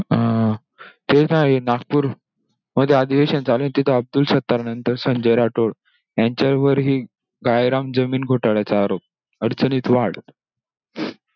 अं तेच आहे, नागपूर मध्ये अधिवेशन चालूये तिथे अब्दुल सदानंद संजय राठोड यांच्यावर हि काळेराम जमीन घोटाळ्याचा आरोप. अडचणीत वाढ!